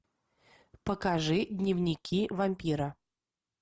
покажи дневники вампира